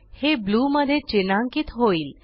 हे ब्लू मध्ये चिन्हांकीत होईल